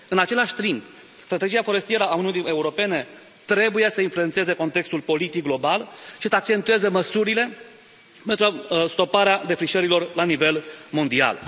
În același timp, strategia forestieră a Uniunii Europene trebuie să influențeze contextul politic global și să accentueze măsurile pentru stoparea defrișărilor la nivel mondial.